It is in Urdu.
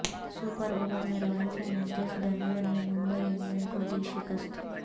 سپر اوور میں رائل چیلنجرس بنگلور نے ممبئی انڈین کو دی شکست